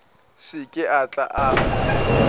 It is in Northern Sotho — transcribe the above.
se ke a tla a